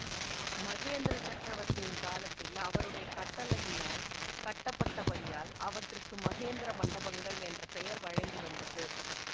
மகேந்திர சக்கரவர்த்தியின் காலத்தில் அவருடைய கட்டளையினால் கட்டப்பட்டபடியால் அவற்றுக்கு மகேந்திர மண்டபங்கள் என்ற பெயர் வழங்கி வந்தது